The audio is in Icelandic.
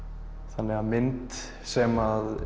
þannig að mynd sem